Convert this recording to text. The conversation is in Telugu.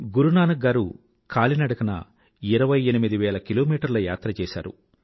గురునానక్ గారు కాలినడకన ఇరవై ఎనిమిది వేల కిలోమీటర్ల యాత్ర చేసారు